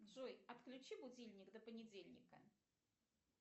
джой отключи будильник до понедельника